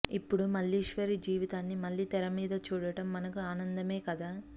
ఇప్పుడు మల్లీశ్వరి జీవితాన్ని మళ్ళీ తెరమీద చూడటం మనకూ ఆనందమే కదా